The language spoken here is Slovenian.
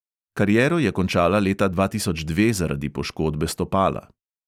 Kariero je končala leta dva tisoč dve zaradi poškodbe stopala.